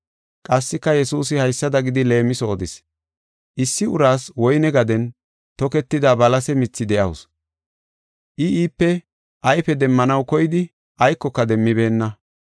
Qassika Yesuusi haysada gidi leemiso odis: “Issi uraas woyne gaden toketida balase mithi de7awusu. I iipe ayfe demmanaw koydi aykoka demmibeenna.